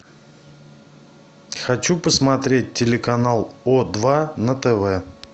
хочу посмотреть телеканал о два на тв